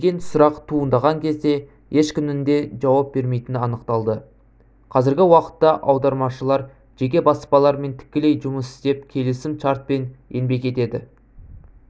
деген сұрақ туындаған кезде ешкімнің де жауап бермейтіні анықталды қазіргі уақытта аудармашылар жеке баспалармен тікелей жұмыс істеп келісім шартпен еңбек етеді